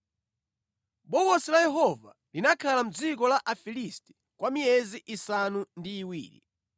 Bokosi la Yehova linakhala mʼdziko la Afilisti kwa miyezi isanu ndi iwiri.